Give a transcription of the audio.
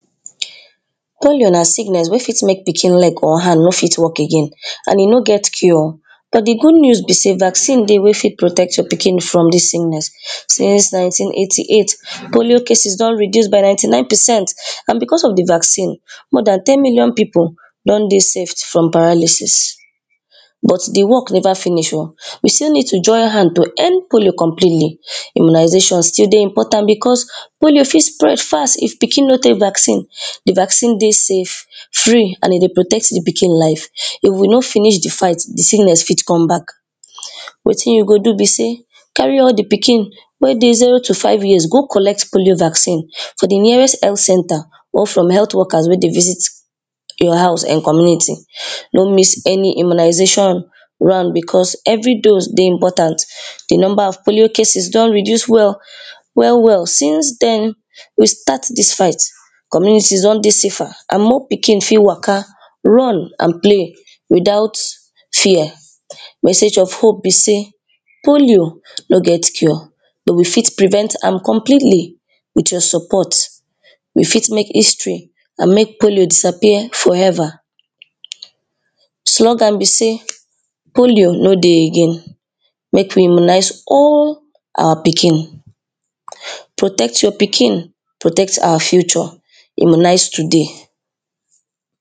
Polio na sickness wey fit make pikin leg and hand no fit work again and e no get cure but di goodnews be sey vaccine dey wey fit protect your pikin from dis sickness Since nineteen eighty-eight polio cases don reduce by ninety nine percent and because of di vaccine more than ten million people don dey safe from paralysis But di work never finish oh, we still need to join hand to end polio completely Immunization still dey important because polio fit spread fast if pikin no take vaccine di vaccine dey safe, free and e dey protect di pikin life. If we no finish di fight, di sickness fit come back Wetin you go do be sey carry all di pikin wey dey zero to five years go collect polio vaccine for di nearest health centre Work from health workers wey dey reach your house and community, no miss any immunization one because every dose dey very important, di number of polio cases don reduce well well well. sInce dem restart dis fight, communities don dey safer and more pikin fit waka run and play without fear. Message of hope be sey Polio no get cure, but we fit preserve am completely With your support, we fit make history and make polio disappear forever Slogan be sey polio no dey again Make we immunize all our pikin Protect your pikin, protect our future. Immunize today